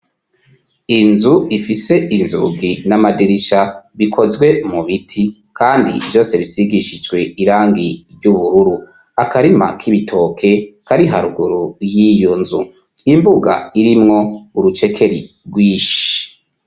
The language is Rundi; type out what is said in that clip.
Inzu ifise inzugi n'amadirisha bikozwe mu biti kandi vyose bisigishijwe irangi ry'ubururu akarima k'ibitoke kariharuguru y'iyo nzu imbuga irimwo urucekeri rw'inshi